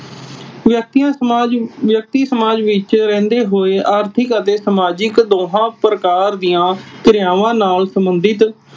ਵਿਅਕਤੀਆਂ ਸਮਾਜ ਵਿਅਕਤੀ ਸਮਾਜ ਵਿਚ ਰਹਿਂਦੇ ਹੋਏ ਆਰਥਿਕ ਅਤੇ ਸਮਾਜਿਕ ਦੋਹਾਂ ਪ੍ਰਕਾਰ ਦੀਆਂ ਕ੍ਰਿਆਵਾਂ ਨਾਲ ਸੰਬੰਧਤ